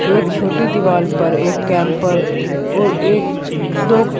एक छोटी दीवार पर एक कैंपर और एक दो--